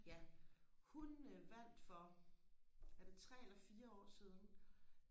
ja hun vandt for er det tre eller fire år siden